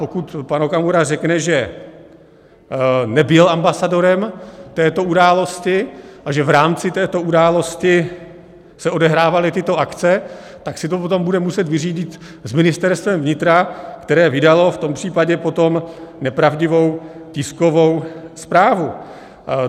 Pokud pan Okamura řekne, že nebyl ambasadorem této události a že v rámci této události se odehrávaly tyto akce, tak si to potom bude muset vyřídit s Ministerstvem vnitra, které vydalo v tom případě potom nepravdivou tiskovou zprávu.